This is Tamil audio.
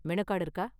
மெனு கார்டு இருக்கா?